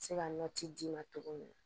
Se ka nɔ ci d'i ma cogo min na